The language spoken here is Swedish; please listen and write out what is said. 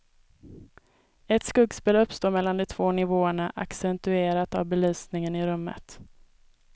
Ett skuggspel uppstår mellan de två nivåerna, accentuerat av belysningen i rummet.